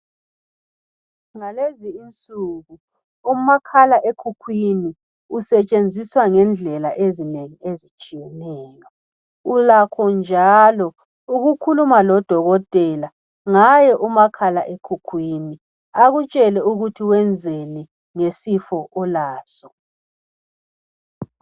Ngalezi insuku umakhala ekhukhwini usetshenziswa ngendlela ezinengi ezitshiyeneyo. Ulakho njalo ukukhuluma lodokotela ngaye umakhala ekhukhwini akutshele ukuthi wenzeni ngesifo olaso .